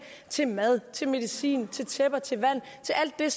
til mad til medicin til tæpper til vand til alt det